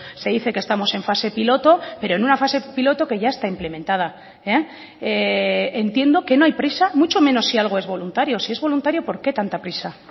se dice que estamos en fase piloto pero en una fase piloto que ya está implementada entiendo que no hay prisa mucho menos si algo es voluntario si es voluntario por qué tanta prisa